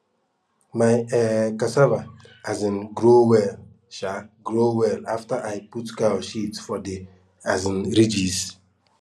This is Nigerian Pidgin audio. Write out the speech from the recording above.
my um cassava um grow well um grow well afta i put cow shit for de um ridges